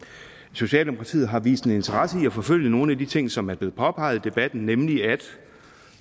socialdemokratiet har vist en interesse i at forfølge nogle af de ting som er blevet påpeget i debatten nemlig at